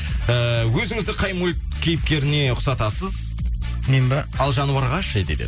ііі өзіңізді қай мульт кейіпкеріне ұқсатасыз мен ба ал жануарға ше дейді